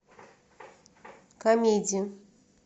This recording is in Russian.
комедии